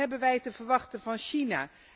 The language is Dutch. Wat hebben wij te verwachten van China?